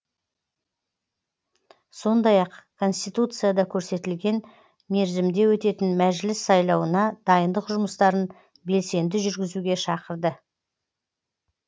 сондай ақ конституцияда көрсетілген мерзімде өтетін мәжіліс сайлауына дайындық жұмыстарын белсенді жүргізуге шақырды